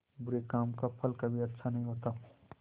बुरे काम का फल कभी अच्छा नहीं होता